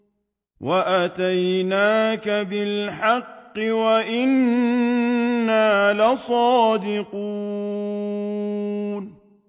وَأَتَيْنَاكَ بِالْحَقِّ وَإِنَّا لَصَادِقُونَ